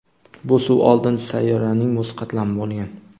Bu suv oldin sayyoraning muz qatlami bo‘lgan.